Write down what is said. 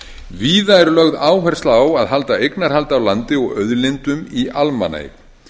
víða er lögð áhersla á að halda eignarhaldi á landi og auðlindum í almannaeign